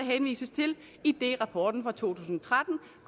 henvises til idet rapporten fra to tusind og tretten